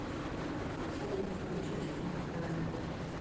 салют включить энкатээн